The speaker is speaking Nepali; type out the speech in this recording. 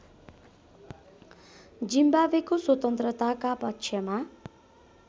जिम्बाब्वेको स्वतन्त्रताका पक्षमा